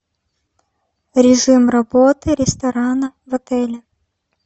режим работы ресторана в отеле